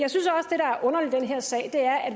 her sag er at